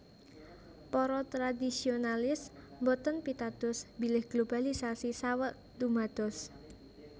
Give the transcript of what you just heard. Para tradisionalis boten pitados bilih globalisasi saweg dumados